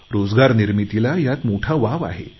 रोजगार निर्मितीला यात मोठा वाव आहे